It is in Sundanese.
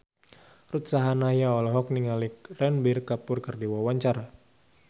Ruth Sahanaya olohok ningali Ranbir Kapoor keur diwawancara